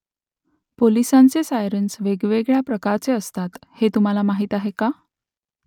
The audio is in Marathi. पोलिसांचे सायरन्स वेगवेगळ्या प्रकारचे असतात हे तुम्हाला माहीत आहे का ?